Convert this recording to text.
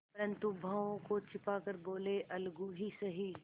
परंतु भावों को छिपा कर बोलेअलगू ही सही